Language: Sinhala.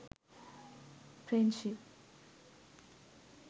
friendship